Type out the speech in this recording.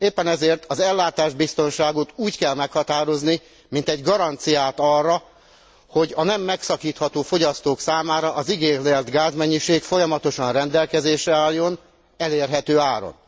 Éppen ezért az ellátásbiztonságot úgy kell meghatározni, mint egy garanciát arra, hogy a nem megszakítható fogyasztók számára az igényelt gázmennyiség folyamatosan rendelkezésre álljon elérhető áron.